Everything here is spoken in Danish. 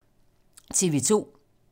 TV 2